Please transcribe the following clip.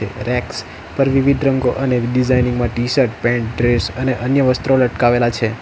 Racks પર વિવિધ રંગો અને ડિઝાઇનિંગ માં ટી-શર્ટ પેન્ટ ડ્રેસ અને અન્ય વસ્ત્રો લટકાવેલા છે.